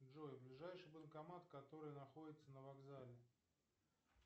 джой ближайший банкомат который находится на вокзале